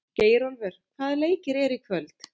Geirólfur, hvaða leikir eru í kvöld?